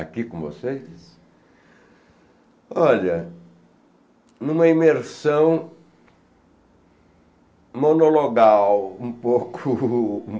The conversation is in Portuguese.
aqui com vocês, olha, em uma imersão monologal um pouco